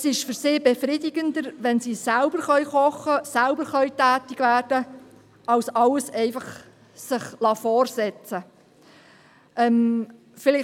Es ist für sie befriedigender, wenn sie selbst kochen, selbst tätig werden können, als sich einfach alles vorsetzen zu lassen.